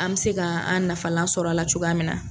An bɛ se ka an nafalan sɔrɔ a la cogoya min na.